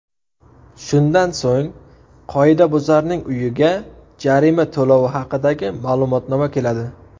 Shundan so‘ng, qoidabuzarning uyiga jarima to‘lovi haqidagi ma’lumotnoma keladi.